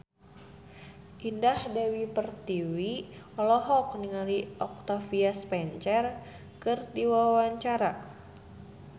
Indah Dewi Pertiwi olohok ningali Octavia Spencer keur diwawancara